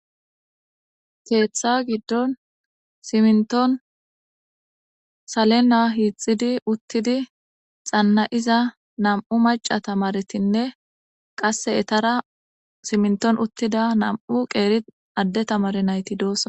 Keetha giddon siminton uttidi salenda hiixidi xanna'iza nam'u macca tamaretinne qaase eetara siminton uttida nam'u qeera adde tamareti doosona.